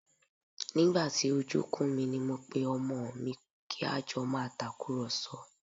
Nígbà tí ojú kún mi ni mo pe pé ọmọ mi kí a jọ máa tàkùrọ̀sọ